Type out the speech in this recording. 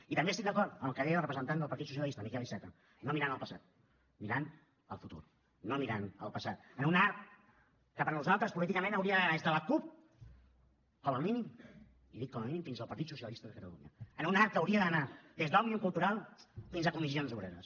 i també estic d’acord amb el que deia el representant del partit socialista el miquel iceta no mirant al passat mirant al futur no mirant al passat en un arc que per nosaltres políticament hauria d’anar des de la cup com a mínim i dic com a mínim fins al partit socialista de catalunya en un arc que hauria d’anar des d’òmnium cultural fins a comissions obreres